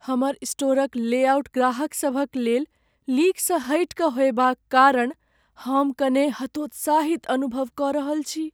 हमर स्टोरक लेआउट ग्राहकसभक लेल लीकसँ हटि कऽ होएबाक कारण हम कने हतोत्साहित अनुभव कऽ रहल छी।